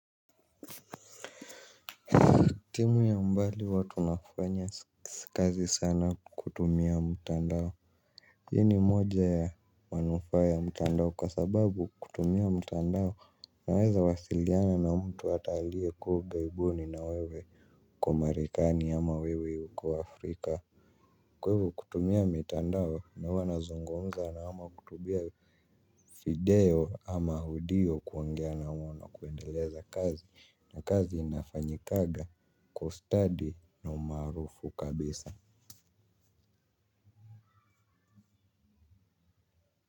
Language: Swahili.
Timu ya mbali watu wanafanya sikazi sana kutumia mtandao. Hii ni moja ya manufaa ya mutandao kwa sababu kutumia mtandao naweza wasiliana na mtu ata alie kua ugaibuni na wewe uko marekani ama wewe uko Afrika. Kwaivo kutumia mitandao na huwa nazungumza na ama kutubia video ama audio kuongea na wao na kuendeleza kazi na kazi inafanyikaga kwa ustadi na umaarufu kabisa.